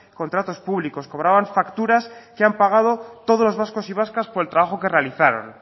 contratos públicos cobraban facturas que han pagado todos los vascos y vascas por el trabajo que realizaron